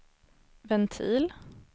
ventil